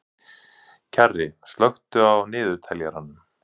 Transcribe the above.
Kjarri, slökktu á niðurteljaranum.